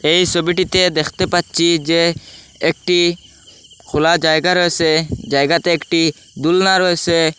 এই সবিটিতে দেখতে পাচ্ছি যে একটি খোলা জায়গা রয়েসে জায়গাতে একটি দুলনা রয়েসে।